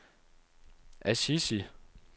Assisi